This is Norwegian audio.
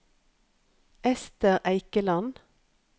Esther Eikeland